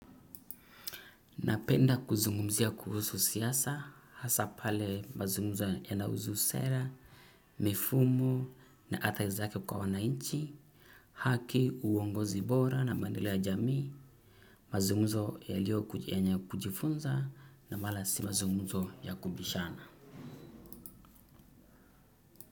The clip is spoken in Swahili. Napenda kuzungumzia kuhusu siasa, hasa pale mazunguzo yana husu sera, mifumo na athari zake kwa wananchi, haki uongozi bora na maendeleo ya jamii, mazunguzo ya lio yenye kujifunza na mara si mazunguzo ya kubishana.